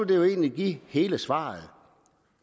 det jo egentlig give hele svaret